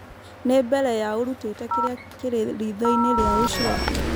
ni mbere ya ũrutĩte kĩrĩa kĩrĩ ritho-inĩ rĩa ũcio ũngĩ